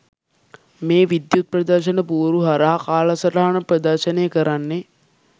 මේ විද්‍යුත් ප්‍රදර්ශන පුවරු හරහා කාලසටහන් ප්‍රදර්ශනය කරන්නේ